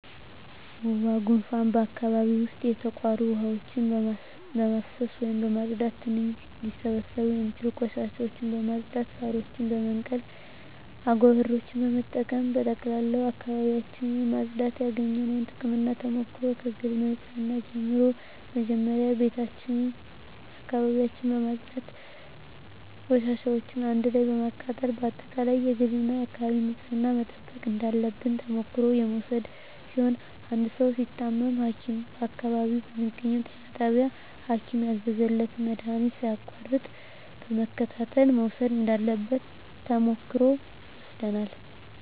ወባ ጉንፋን በአካባቢው ዉስጥ የተቋሩ ዉሀዎችን በማፋሰስ ወይም በማፅዳት ትንኝ ሊስቡ የሚችሉ ቆሻሻዎችን በማፅዳት ሳሮችን በመንቀል አጎበሮችን በመጠቀም በጠቅላላ አካባቢዎችን ማፅዳት ያገኘነዉ ጥቅምና ተሞክሮ ከግል ንፅህና ጀምሮ መጀመሪያ ቤታችን አካባቢያችን በማፅዳት ቆሻሻዎችን አንድ ላይ በማቃጠል በአጠቃላይ የግልና የአካባቢ ንፅህናን መጠበቅ እንዳለብን ተሞክሮ የወሰድን ሲሆን አንድ ሰዉ ሲታመም ሀኪም በአካባቢው በሚገኘዉ ጤና ጣቢያ ሀኪም ያዘዘለትን መድሀኒት ሳያቋርጥ በመከታተል መዉሰድ እንዳለበት ተሞክሮ ወስደናል